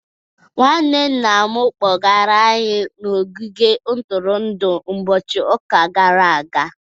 Nwanne Nna'm kpọgara anyị n'ogige ntụrụndụ n'ụbọchị ụka gara aga.